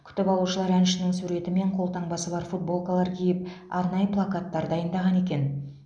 күтіп алушылар әншінің суреті мен қолтаңбасы бар футболкалар киіп арнайы плакаттар дайындаған екен